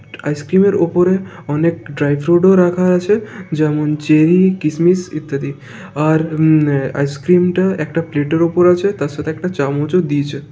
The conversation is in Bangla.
আইস ক্রিম -এর উপরে অনেক ড্রাই ফ্রুট রাখা আছে যেমন চেরি কিসমিস ইত্যাদি আর উম আইস ক্রিম -টা একটা প্লেট -এর উপর আছে তার সাথে একটা চামচ দিয়েছে ।